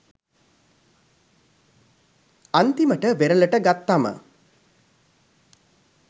අන්තිමට වෙරලට ගත්තම